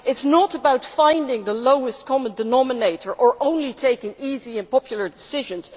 It is not about finding the lowest common denominator or only taking easy and popular decisions.